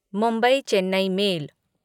Mumbai Chennai mail